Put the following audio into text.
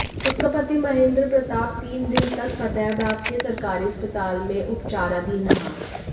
उसका पति महेंद्र प्रताप तीन दिन तक फतेहाबाद के सरकारी अस्पताल में उपचाराधीन रहा